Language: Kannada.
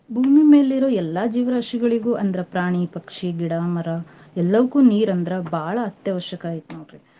ಭೂಮಿ ಮೇಲಿರೋ ಎಲ್ಲಾ ಜೀವರಾಶಿಗಳಿಗೂ ಅಂದ್ರ ಪ್ರಾಣಿ ಪಕ್ಷಿ ಗಿಡ ಮರ ಎಲ್ಲವುಕ್ಕೂ ನೀರ್ ಅಂದ್ರ ಬಾಳ ಅತ್ಯವಶ್ಯಕ ಐತ್ನೋಡ್ರಿ.